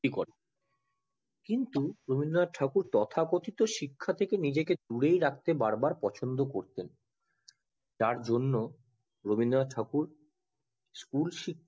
করেন কিন্তু রবীন্দ্রনাথ ঠাকুর তথাকথিত শিক্ষা থেকে নিজেকে দূরে রাখতে বার বার পছন্দ করতেন তার জন্য রবীন্দ্রনাথ ঠাকুর school শিক্ষা